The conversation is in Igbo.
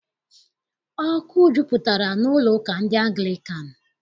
Ọkụ jupụtara n'ụlọụka ndị Anglịkan.